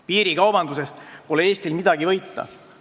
Piirikaubandusest pole Eestil midagi võita.